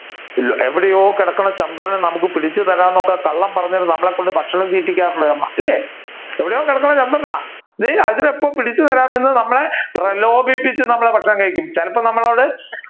എവിടെയോ കിടക്കുന്ന ചന്ദ്രനെ നമ്മുക്ക് പിടിച്ചു തരാം എന്നൊക്കെ കള്ളം പറഞ്ഞു നമ്മളെ കൊണ്ട് ഭക്ഷണം തീറ്റിപ്പിക്കാറുണ്ട് അമ്മ ഇല്ലേ എവിടെയോ കിടക്കുന്ന ചന്ദ്രനാ അതിനെ ഇപ്പൊ പിടിച്ചുതരാം എന്ന് നമ്മളെ പ്രലോപിപ്പിച്ചു നമ്മളെ ഭക്ഷണം കഴിപ്പിക്കും ചിലപ്പോ നമ്മളോട്